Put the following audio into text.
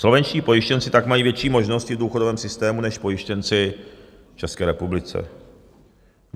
Slovenští pojištěnci tak mají větší možnosti v důchodovém systému než pojištěnci v České republice.